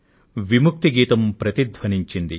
స్వాతంత్య్రం గీతం ప్రతిధ్వనించింది